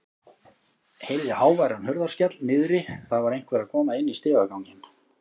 Heyrði háværan hurðarskell niðri, það var einhver að koma inn í stigaganginn.